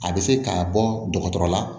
A bɛ se ka bɔ dɔgɔtɔrɔ la